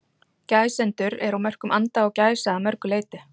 gæsendur eru á mörkum anda og gæsa að mörgu leyti